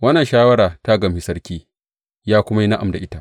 Wannan shawara ta gamshi sarki, ya kuwa yi na’am da ita.